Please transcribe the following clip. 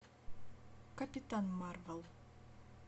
капитан марвел